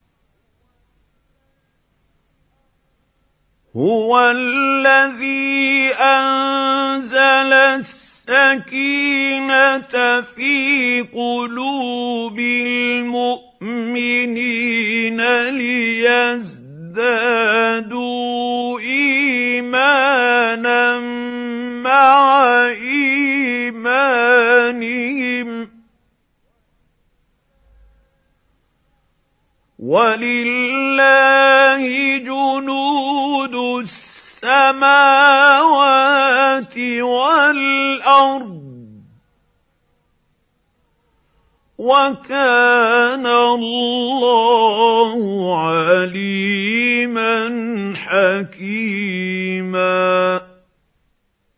هُوَ الَّذِي أَنزَلَ السَّكِينَةَ فِي قُلُوبِ الْمُؤْمِنِينَ لِيَزْدَادُوا إِيمَانًا مَّعَ إِيمَانِهِمْ ۗ وَلِلَّهِ جُنُودُ السَّمَاوَاتِ وَالْأَرْضِ ۚ وَكَانَ اللَّهُ عَلِيمًا حَكِيمًا